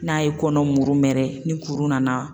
N'a ye kɔnɔ murumɛrɛ ni kuru nana